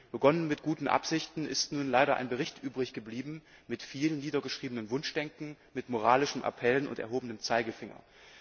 Begonnen mit guten Absichten ist nun leider ein Bericht übrig geblieben mit viel niedergeschriebenem Wunschdenken, mit moralischen Appellen und erhobenem Zeigefinger.